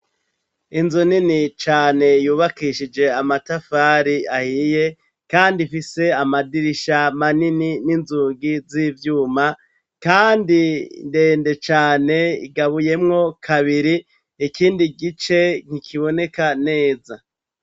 Inzu nini cane yubakishije amatafari ahiye, kandi ifise amadirisha manini n'inzungi z'ivyuma, kandi ndende cane igabuyemwo kabiri ikindi gice nkikiboneka neza.